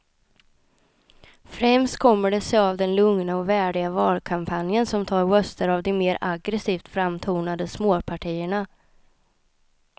Främst kommer det sig av den lugna och värdiga valkampanjen som tar röster av de mer aggresivt framtonade småpartierna.